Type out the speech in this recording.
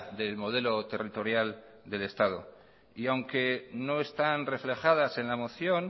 del modelo territorial del estado y aunque no están reflejadas en la moción